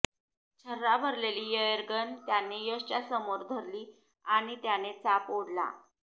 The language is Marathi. छर्रा भरलेली एयरगन त्याने यशच्या समोर धरली आणि त्याने चाप ओढला